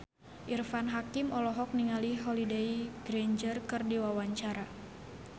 Irfan Hakim olohok ningali Holliday Grainger keur diwawancara